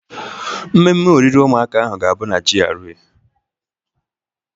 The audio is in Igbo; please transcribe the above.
Mmemme oriri ụmụaka ahụ ga-abụ na GRA.